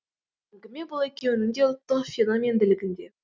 әңгіме бұл екеуінің де ұлттық феномендігінде